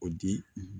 O di